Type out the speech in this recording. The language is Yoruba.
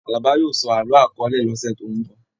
Àlàbá yóò sọ àlọ akọọ́lẹ̀ lọ́sẹ̀ tó n bọ.